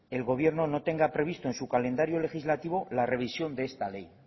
el gobierno no tenga previsto en su calendario legislativo la revisión de esta ley